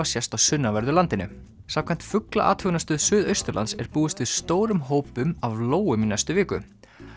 sést á sunnanverðu landinu samkvæmt fuglaathugunarstöð Suðausturlands er búist við stórum hópum af lóum í næstu viku